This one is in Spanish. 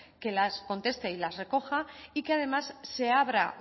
que las conteste y las recoja y que además se abra